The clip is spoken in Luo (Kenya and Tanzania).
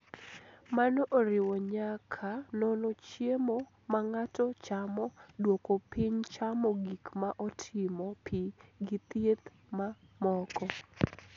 Mano oriwo nyaka nono chiemo ma ng'ato chamo, duoko piny chamo gik ma otimo pii gi thiedh ma moko.